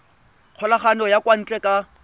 kgokagano ya kwa ntle ka